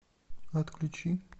отключи